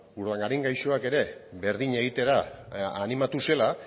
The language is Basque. urdangarin gaixoak ere berdina egitera animatu zela